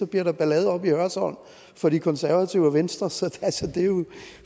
bliver der ballade oppe i hørsholm for de konservative og venstre så altså det er jo